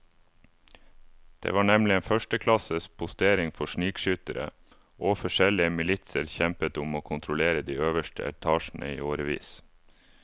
Det var nemlig en førsteklasses postering for snikskyttere, og forskjellige militser kjempet om å kontrollere de øverste etasjene i årevis.